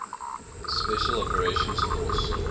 special operations force